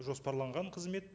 жоспарланған қызмет